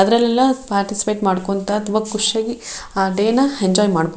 ಅದ್ರಲ್ಲೆಲ್ಲ ಪಾರ್ಟಿಸಿಪೇಟ ಮಾಡ್ಕೊಂತ ತುಂಬಾ ಖುಷಿ ಆಗಿ ಆ ಡೇ ನ ಎಂಜಾಯ್ ಮಾಡಬಹು --